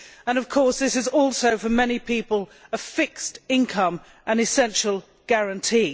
And, of course, this is also, for many people, a fixed income, an essential guarantee.